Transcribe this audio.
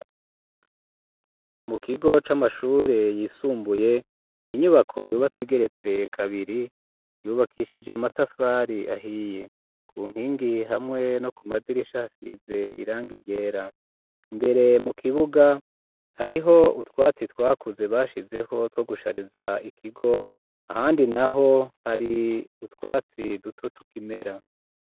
Mu kigo c'amashure yisumbuye ,ninyubako yubatse igeretse kabiri ,yubakishije amatafari ahiye, ku nkingi hamwe no ku madirisha ,hasize irangi ryera ,mbere mu kibuga hariho utwatsi twakuze bashizeho two gushariza ikigo ,ahandi naho hari utwatsi duto tukimera.